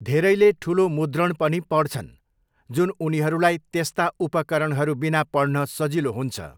धेरैले ठुलो मुद्रण पनि पढ्छन्, जुन उनीहरूलाई त्यस्ता उपकरणहरू बिना पढ्न सजिलो हुन्छ।